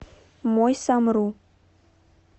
мой самру